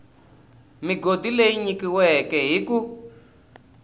migodi leyi nyikiweke hi ku